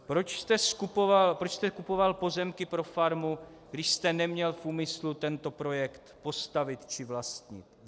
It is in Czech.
Proč jste kupoval pozemky pro farmu, když jste neměl v úmyslu tento projekt postavit či vlastnit?